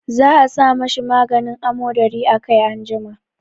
Za a sa ma shi maganin amodari a kai anjima.